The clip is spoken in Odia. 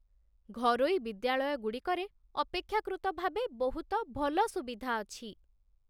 ଘରୋଇ ବିଦ୍ୟାଳୟଗୁଡ଼ିକରେ ଅପେକ୍ଷାକୃତ ଭାବେ ବହୁତ ଭଲ ସୁବିଧା ଅଛି।